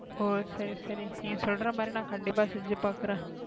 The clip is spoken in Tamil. ஹோ சரி சரி நீ சொல்ற மாறி நான் கண்டிப்பா செஞ்சு பாக்குறேன்,